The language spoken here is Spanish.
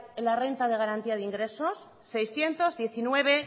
la renta de garantía de ingresos seiscientos diecinueve